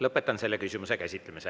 Lõpetan selle küsimuse käsitlemise.